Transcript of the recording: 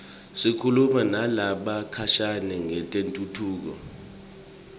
sikhuluma nalabakhashane ngetentfutfuko